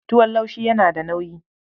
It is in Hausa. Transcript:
Tuwon laushi yana da nauyi.